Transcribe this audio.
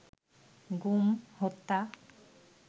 গুম, হত্যা